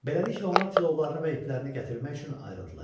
Beləliklə, onlar tilovlarını və iplərini gətirmək üçün ayrıldılar.